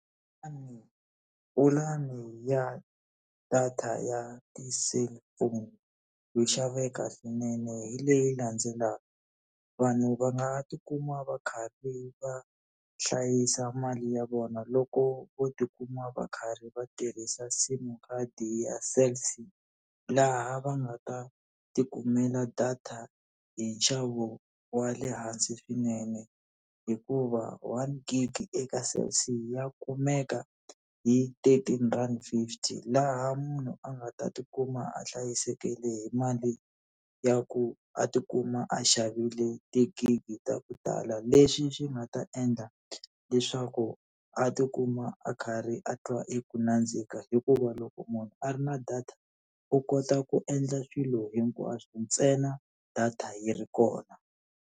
Pulani ya data ya ti-cellphone yo xaveka swinene hi leyi landzelaka. Vanhu va nga ti kuma va karhi va hlayisa mali ya vona loko vo ti kuma va karhi va tirhisa sim card-i ya Cell C, laha va nga ta tikumela data hi nxavo wa le hansi swinene. Hikuva one gig eka Cell C ya kumeka hi ti eighteen rand fifty, laha munhu a nga ta tikuma a hlayisekele hi mali ya ku a tikuma a xavile tigigi ta ku tala. Leswi swi nga ta endla leswaku a tikuma a karhi a twa i ku nandzika hikuva loko munhu a ri na data, u kota ku endla swilo hinkwaswo ntsena data yi ri kona.